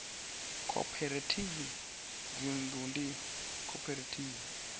khophorethivi ya dzinnḓu ndi khophorethivi